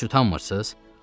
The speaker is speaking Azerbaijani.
Heç utanmırsız?